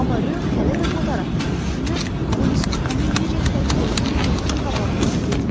Amma Ro hələ də Kotar haqqında düşünür, polisin onu necə təpiklədiyi gözünün qabağından getmirdi.